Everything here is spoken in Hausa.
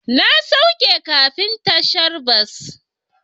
Na sauke kafin tashar bas.